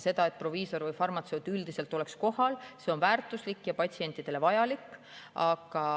See, et proviisor või farmatseut üldiselt oleks kohal, on väärtuslik ja patsientidele vajalik.